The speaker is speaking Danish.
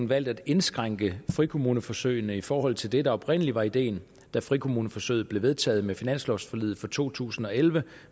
valgt at indskrænke frikommuneforsøgene i forhold til det der oprindelig var ideen da frikommuneforsøget blev vedtaget med finanslovforliget for to tusind og elleve